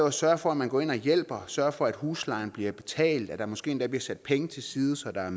at sørge for at man går ind og hjælper sørge for at huslejen bliver betalt og at der måske endda bliver sat penge til side så der er